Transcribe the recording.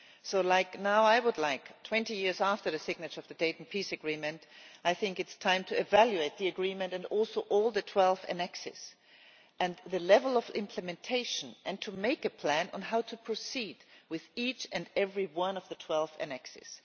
So now, 20 years after the signature of the Dayton Peace Agreement, I think it is time to evaluate the agreement and also all the 12 annexes, and the level of implementation, and to make a plan on how to proceed with each and every one of the 12 annexes.